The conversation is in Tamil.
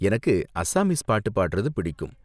எனக்கு அசாமீஸ் பாட்டு பாடுறது பிடிக்கும்.